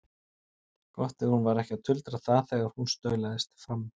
Gott ef hún var ekki að tuldra það þegar hún staulast fram.